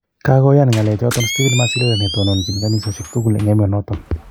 Kogoyan ngalechoton stephen Masilela ne tononchin kanisosiek tugul en emonoton.